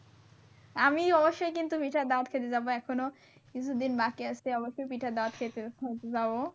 আমি অবশ্যই কিন্তু পিঠার দাওয়াত খাইতে যাবো এখনো কিছু দিন বাকি আছে অবশ্যই পিঠার দাওয়াত খাইতে কিন্তু যাবো।